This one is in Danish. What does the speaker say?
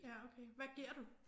Ja okay. Hvad giver du?